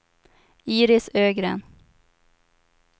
Iris Ögren